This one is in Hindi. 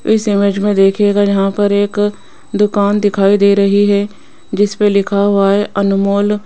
इस इमेज में देखिएगा यहां पर एक दुकान दिखाई दे रही है जिस पर लिखा हुआ है अनमोल।